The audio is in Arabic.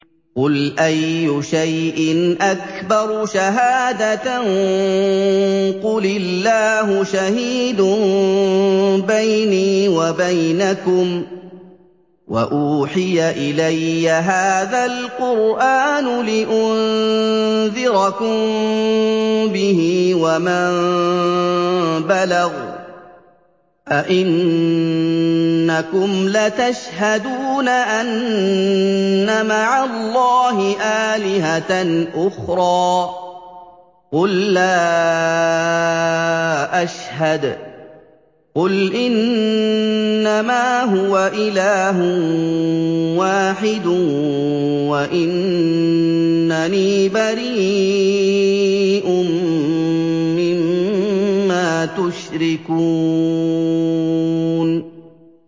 قُلْ أَيُّ شَيْءٍ أَكْبَرُ شَهَادَةً ۖ قُلِ اللَّهُ ۖ شَهِيدٌ بَيْنِي وَبَيْنَكُمْ ۚ وَأُوحِيَ إِلَيَّ هَٰذَا الْقُرْآنُ لِأُنذِرَكُم بِهِ وَمَن بَلَغَ ۚ أَئِنَّكُمْ لَتَشْهَدُونَ أَنَّ مَعَ اللَّهِ آلِهَةً أُخْرَىٰ ۚ قُل لَّا أَشْهَدُ ۚ قُلْ إِنَّمَا هُوَ إِلَٰهٌ وَاحِدٌ وَإِنَّنِي بَرِيءٌ مِّمَّا تُشْرِكُونَ